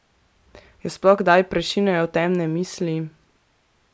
Jo sploh kdaj prešinejo temne misli?